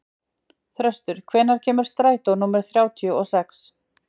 Þröstur, hvenær kemur strætó númer þrjátíu og sex?